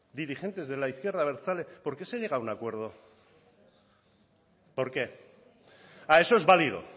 dirigentes de la izquierda abertzale por qué se llega a un acuerdo por qué ah eso es válido